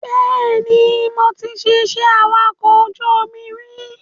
Bẹ́ẹ̀ni, mo ti ṣe iṣẹ́ awakọ̀ ojú omi rí